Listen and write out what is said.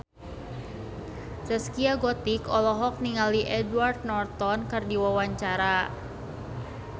Zaskia Gotik olohok ningali Edward Norton keur diwawancara